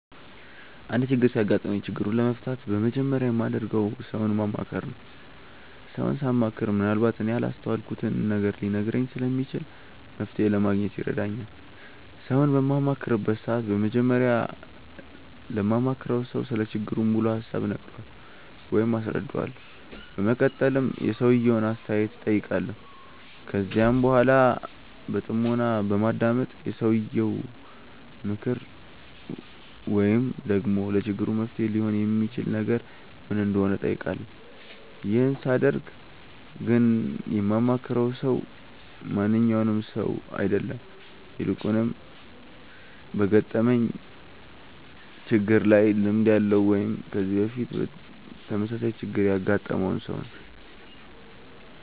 አንድ ችግር ሲያጋጥመኝ ችግሩን ለመፍታት በመጀመሪያ የማደርገው ሰውን ማማከር ነው። ሰውን ሳማክር ምንአልባት እኔ ያላስተዋልኩትን ነገር ሊነግረኝ ስለሚችል መፍተሔ ለማግኘት ይረዳኛል። ሰውን በማማክርበት ሰዓት በመጀመሪያ ለማማክረው ሰው ስለ ችግሩ ሙሉ ሀሳብ እነግረዋለሁ ወይም አስረዳዋለሁ። በመቀጠልም የሰውየውን አስተያየት እጠይቃለሁ። ከዚያም በኃላ በጥሞና በማዳመጥ የሰውየው ምክር ወይም ደግሞ ለችግሩ መፍትሔ ሊሆን የሚችል ነገር ምን እንደሆነ እጠይቃለሁ። ይህን ሳደርግ ግን የማማክረው ሰው ማንኛውም ሰው አይደለም። ይልቁንም በገጠመኝ ችግር ላይ ልምድ ያለው ወይም ከዚህ በፊት ተመሳሳይ ችግር ያገጠመውን ሰው ነው።